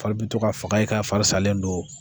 Fari bi to ka faga i kan fari fari salen don.